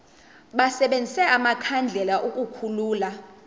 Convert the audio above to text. basebenzise amakhandlela ukukhulula